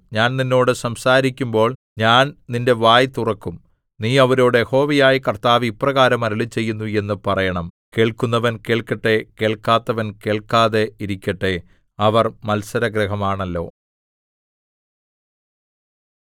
ഞാൻ നിന്നോട് സംസാരിക്കുമ്പോൾ ഞാൻ നിന്റെ വായ് തുറക്കും നീ അവരോട് യഹോവയായ കർത്താവ് ഇപ്രകാരം അരുളിച്ചെയ്യുന്നു എന്ന് പറയണം കേൾക്കുന്നവൻ കേൾക്കട്ടെ കേൾക്കാത്തവൻ കേൾക്കാതെ ഇരിക്കട്ടെ അവർ മത്സരഗൃഹമാണല്ലോ